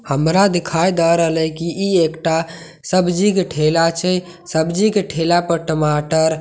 हामरा दिखाई द रहलए कि ई एकटा सब्जी के ठेला छै सब्जी के ठेला पर टमाटर भिं--